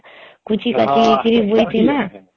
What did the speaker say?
କୁଚି କାଚି ହେଇକିରି ବଇ ଥିମା